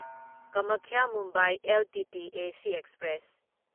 Kamakhya Mumbai LTT S express